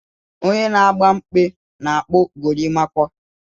Onye na agba mkpe na-akpu gorimakwa.